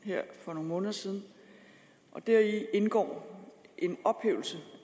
her for nogle måneder siden og deri indgår en ophævelse